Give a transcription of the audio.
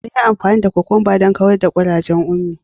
An yi amfani da kukumba don kawar da kurajen Ummi.